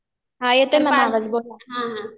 हा येतोय मॅम आवाज बोला.